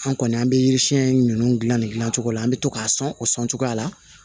An kɔni an bɛ yiri siyɛn ninnu dilan ne dilan cogo la an bɛ to k'a sɔn o sɔn cogoya la